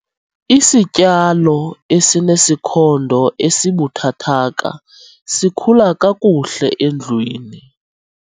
Isityalo esinesikhondo esibuthathaka sikhula kakuhle endlwini.